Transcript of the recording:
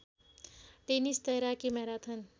tennis तैराकी marathon